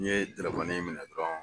N ye telefɔni in minɛ dɔrɔn.